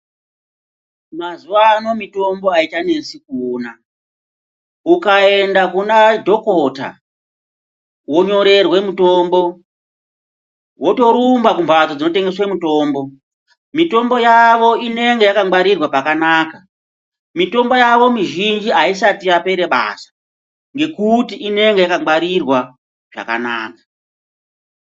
Mazuva ano mitombo haichanesi kuona ukaenda kuna dhokota vonyorerwe mutombo votorumba kumhatso dzinotengeswe mitombo. Mitombo yavo inenge yakangwarirwa pakanaka mitombo yavo mizhinji haisati yapera basa. Ngekuti inonga yakangwarirwa zvakanaka.